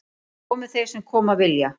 Komi þeir sem koma vilja